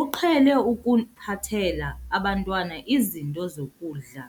uqhele ukuphathela abantwana izinto zokudla